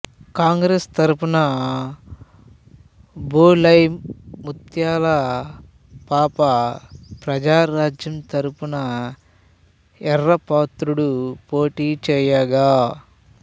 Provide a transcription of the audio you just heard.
కాంగ్రెసు తరుపున బొలెమ్ ముత్యాల పాప ప్రజారాజ్యం తరుపున ఎర్రాపాత్రుడు పోటీ ఛేయగా